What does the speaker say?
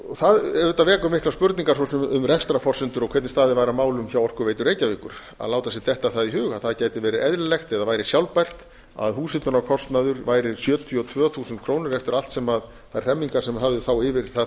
það auðvitað vekur miklar spurningar um rekstrarforsendur og hvernig staðið var að málum hjá orkuveitu reykjavíkur að láta sér detta það í hug að það gæti verið eðlilegt eða væri sjálfbært að húshitunarkostnaður væri sjötíu og tvö þúsund krónur eftir allt sem þær hremmingar sem höfðu þá yfir það